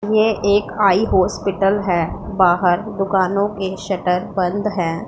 ये एक eye hospital है बाहर दुकानों के शटर बंद हैं।